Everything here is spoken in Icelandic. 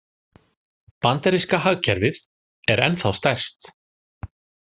Bandaríska hagkerfið er ennþá stærst